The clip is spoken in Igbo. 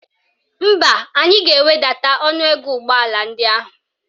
Mba, anyị ga-ewedata ọnụego ụgbọala ndị ahụ.